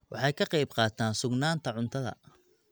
Waxay ka qayb qaataan sugnaanta cuntada.